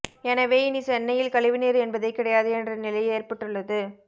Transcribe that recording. எனவே இனி சென்னையில் கழிவு நீர் என்பதே கிடையாது என்ற நிலை ஏற்பட்டுள்ளது